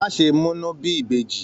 Má ṣe múnu bí ìbejì.